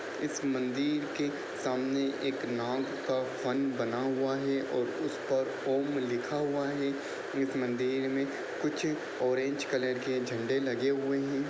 इस मंदिर के सामने एक नाग का फन बना हुआ है और उस पर एक ओम लिखा हुआ है एक मंदिर में कुछ ऑरेंज कलर के झंडे लगे हुए हैं।